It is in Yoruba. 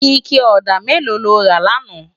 Iké òdá méló ló rá làná?